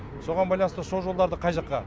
соған байланысты сол жолдарды қай жаққа